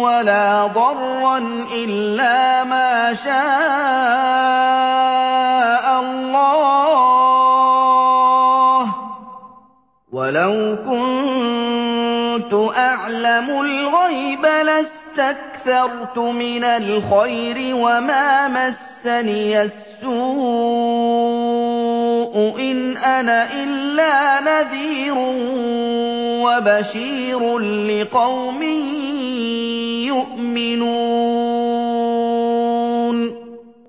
وَلَا ضَرًّا إِلَّا مَا شَاءَ اللَّهُ ۚ وَلَوْ كُنتُ أَعْلَمُ الْغَيْبَ لَاسْتَكْثَرْتُ مِنَ الْخَيْرِ وَمَا مَسَّنِيَ السُّوءُ ۚ إِنْ أَنَا إِلَّا نَذِيرٌ وَبَشِيرٌ لِّقَوْمٍ يُؤْمِنُونَ